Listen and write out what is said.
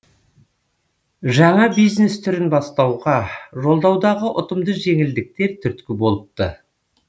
жаңа бизнес түрін бастауға жолдаудағы ұтымды жеңілдіктер түрткі болыпты